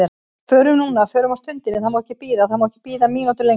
Förum núna, förum á stundinni, það má ekki bíða, það má ekki bíða mínútu lengur.